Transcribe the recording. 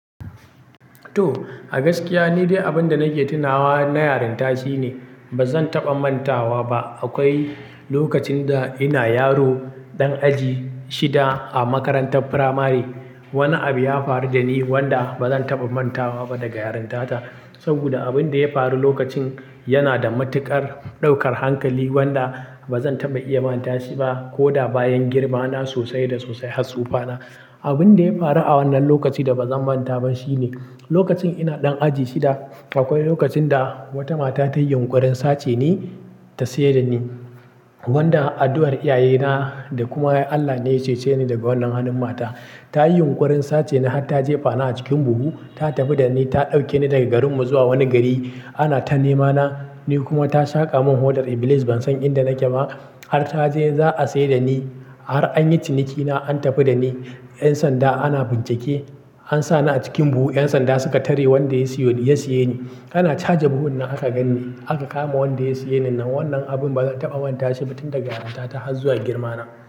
To a gaskiya nidai abinda nake tunawa na yarinta shine bazan taba mantawa ba. Akwai lokacin da ina yaro ɗan aji shida a makarantar firamare, wani abu ya faru da ni wanda ba zan taɓa manta wa ba daga yarinta ta. Saboda abin da ya faru lokacin yana da matuƙar ɗaukar hankali wanda ba zan taɓa iya manta shi ba ko da bayan girma na sosai da sosai har tsufa na. Abin da ya faru a wannan lokaci da ba zan manta ba shine, lokacin ina ɗan aji shida, akwai lokacin da wata mata ta yi yunƙurin sace ni ta seda ni. Wanda addu'ar iyaye na da kuma Allah ne ya cece ni daga wannan hannun mata. Ta yi yunƙurin sace ni har ta jefa ni a cikin buhu, ta tafi da ni, ta ɗauke ni daga garin mu zuwa wani gari. Ana ta nema na, ni kuma ta shaƙa mun hodar ibilis ban san inda nake ba. Har ta je za a seda ni, har an yi ciniki na an tafi da ni. 'Yan sanda ana bincike, an sa ni a cikin buhu 'yan sanda suka tare wanda ya siye ya saye ni. Ana caja buhun nan aka gan ni, aka kama wanda ya saye ni nan. Wannan abin ba zan taɓa manta shi ba tun daga yarinta ta har zuwa girma na.